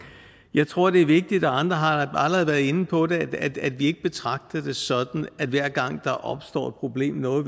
jeg tror det er vigtigt og andre har allerede været inde på det at vi ikke betragter det sådan at hver gang der opstår et problem noget